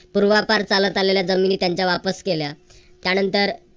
पूर्वापार चालत आलेल्या जमिनी त्यांच्या वापस केल्या. त्यानंतर